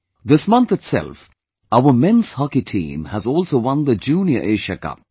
This month itself our Men's Hockey Team has also won the Junior Asia Cup